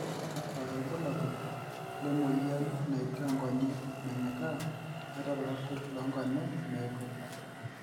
kakua irbulabol le moyian naitaa nkonyek menyikaa ata irpapit loo nkonyek meigut?